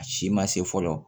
A si ma se fɔlɔ